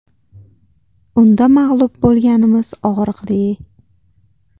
Unda mag‘lub bo‘lganimiz og‘riqli.